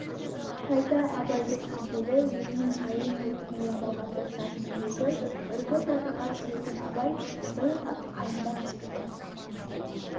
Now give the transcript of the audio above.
қайта абайды сүйгелі өзінің қайын жұртын ойламауға тырысатын жүрегі үркіп жатырқап жүретін абай бірақ қайындап кетті